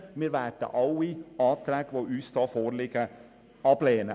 Wir werden alle vorliegenden Anträge ablehnen.